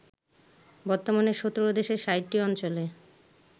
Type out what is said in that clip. বর্তমানে ১৭ দেশের ৬০টি অঞ্চলে